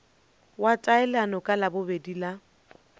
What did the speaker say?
wa taelano ka labobedi la